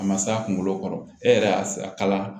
A ma s'a kunkolo kɔrɔ e yɛrɛ y'a kala